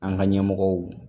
An ga ɲɛmɔgɔw